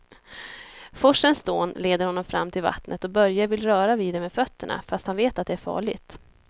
Forsens dån leder honom fram till vattnet och Börje vill röra vid det med fötterna, fast han vet att det är farligt.